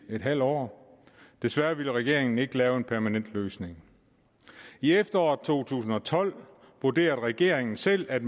en halv år desværre ville regeringen ikke lave en permanent løsning i efteråret to tusind og tolv vurderede regeringen selv at